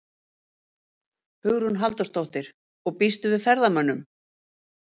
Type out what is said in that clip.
Hugrún Halldórsdóttir: Og býstu við ferðamönnum?